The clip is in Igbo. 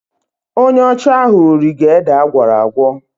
Onye ọcha ahụ rige ede agwọrọ agwọ..